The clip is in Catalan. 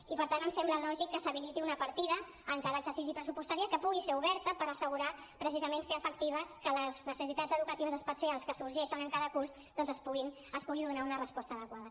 i per tant ens sembla lògic que s’habiliti una partida en cada exercici pressupostari que pugui ser oberta per assegurar precisament fer efectiu que les necessitats educatives especials que sorgeixen en cada curs doncs es pugui donar una resposta adequada